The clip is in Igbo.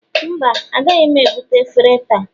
mba, agaghị m ebute efere taa